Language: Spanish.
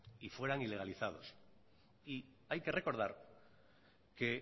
y fueran ilegalizados y hay que recordar que